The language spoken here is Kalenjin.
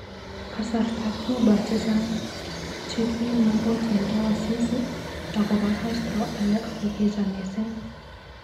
Kasarta Cuba chechang chekimukotindo wasisi ak kobo Castro, alak kokicham mising.